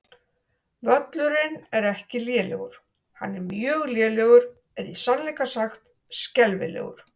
Völlurinn er ekki lélegur, hann er mjög lélegur eða í sannleika sagt skelfilegur.